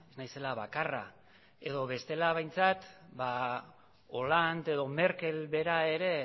naizela bakarra edo bestela behintzat hollande edo merkel bera ere